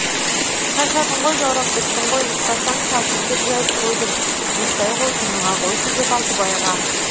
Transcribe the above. шаршадың ғой жаурап біттің ғой ұйықтасаңшы ал төсек жайып қойдым ұйықтай ғой тыныға қойшы деп алтыбайға